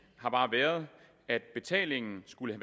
har bare været at betalingen skulle